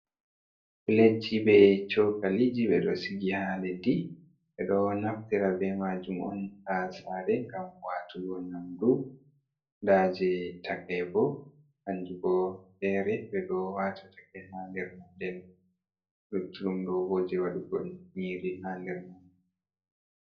Pledji be Chokaliji: Ɓeɗo sigi ha leddi. Ɓeɗo naftira be majum on ha sare ngam watugo nyamdu. Nda je takai bo hanjumbo fere beɗo wata takai ha nder man. Nden, luttuɗum ɗo bo je wadugo nyiri ha nder man.